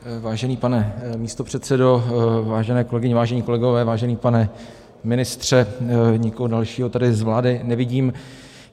Vážený pane místopředsedo, vážené kolegyně, vážení kolegové, vážený pane ministře, nikoho dalšího tady z vlády nevidím.